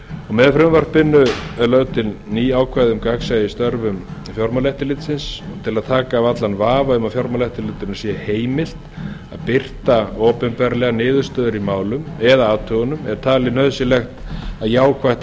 með frumvarpinu eru lögð til ný ákvæði um gagnsæi í störfum fjármálaeftirlitsins til þess að taka af allan vafa um að fjármálaeftirlitinu sé heimilt að birta opinberlega niðurstöður í málum eða athugunum er talið nauðsynlegt að jákvætt